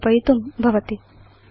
व्यवस्थापयितुं भवति